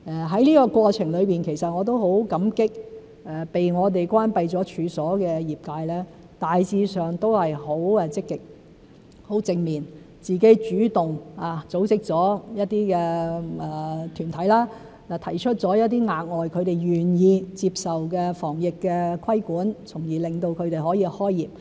在這過程中，其實我也很感激被我們關閉了處所的業界，大致上也是很積極和正面，自行主動組織了一些團體，提出了一些他們願意接受的額外防疫規管，從而令他們可以開業。